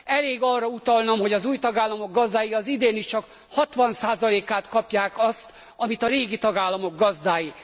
Elég arra utalnom, hogy az új tagállamok gazdái az idén is csak a 60 át kapják annak, amit a régi tagállamok gazdái.